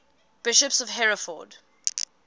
bishops of hereford